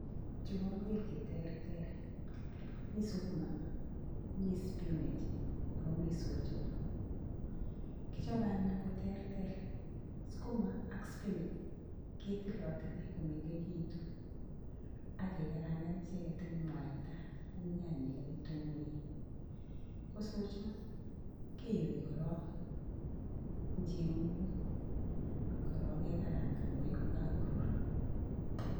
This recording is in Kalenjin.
Cho koingwek cheterter, mskuma ak spinech, akomii soiyot, kichope anyu koterterskuma ak spinach ketilatili komengekitun ak kekarangan icheket en mwata AK nyanyek ak kitunguik, kosochat kiyoe koron en chebungutak kekarangan kokakorur